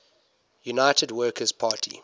united workers party